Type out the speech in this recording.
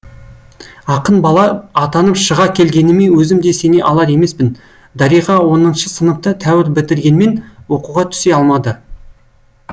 ақын бала атанып шыға келгеніме өзім де сене алар емеспін дариға оныншы сыныпты тәуір бітіргенмен оқуға түсе алмады